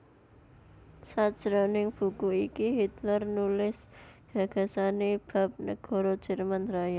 Sajroning buku iki Hitler nulis gagasané bab negara Jerman Raya